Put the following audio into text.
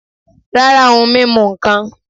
rara ohún mimú nkán.